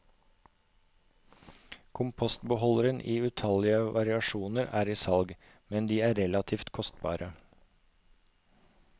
Kompostbeholdere i utallige variasjoner er i salg, men de er relativt kostbare.